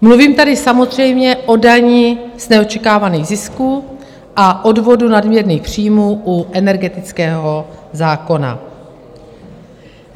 Mluvím tady samozřejmě o dani z neočekávaných zisků a odvodu nadměrných příjmů u energetického zákona.